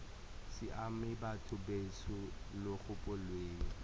siame batho betsho lo gopoleng